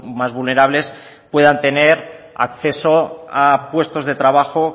más vulnerables puedan tener acceso a puestos de trabajo